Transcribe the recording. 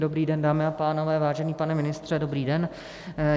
Dobrý den, dámy a pánové, vážený pane ministře, dobrý den.